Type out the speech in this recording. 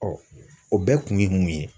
o bɛɛ kun ye mun ye?